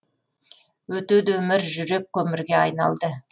өтеді өмір жүрек көмірге айналды